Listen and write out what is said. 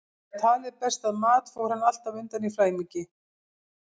Þegar talið barst að mat fór hann alltaf undan í flæmingi.